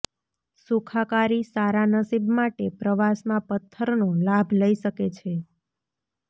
સુખાકારી સારા નસીબ માટે પ્રવાસમાં પથ્થરનો લાભ લઈ શકે છે